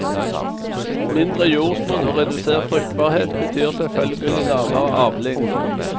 Mindre jordsmonn og redusert fruktbarhet betyr selvfølgelig lavere avling.